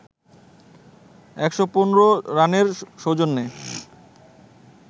১১৫ রানের সৌজন্যে